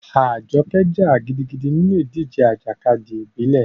Ajoke jà gidigidi nínú ìdíje ìjàkadì ìbílẹ̀.